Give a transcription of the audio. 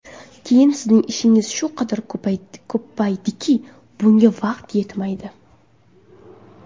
Keyin sizning ishingiz shu qadar ko‘payadiki, bunga vaqt yetmaydi.